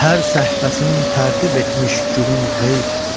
Hər səhvəsin tərtib etmiş gülün qeyb.